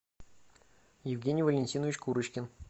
евгений валентинович курочкин